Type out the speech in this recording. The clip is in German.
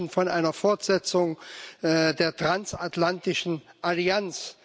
Sie sprechen von einer Fortsetzung der transatlantischen Allianz.